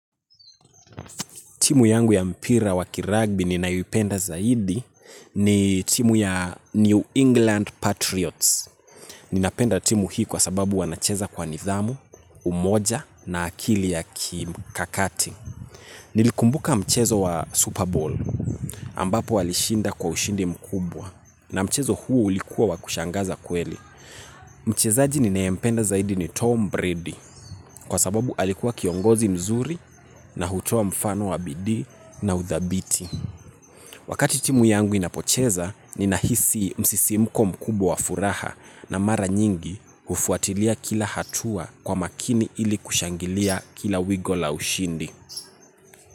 Timu yangu ya mpira wa kiragbi ninayoipenda zaidi ni timu ya New England Patriots. Ninapenda timu hii kwa sababu wanacheza kwa nidhamu, umoja na akili ya kikakati. Nilikumbuka mchezo wa Super Bowl ambapo walishinda kwa ushindi mkubwa na mchezo huu ulikuwa wa kushangaza kweli. Mchezaji ninayempenda zaidi ni Tom Brady. Kwa sababu alikuwa kiongozi mzuri na hutoa mfano wa bidii na uthabiti. Wakati timu yangu inapocheza ninahisi msisimko mkubwa wa furaha. Na mara nyingi hufuatilia kila hatua kwa makini ili kushangilia kila wigo la ushindi.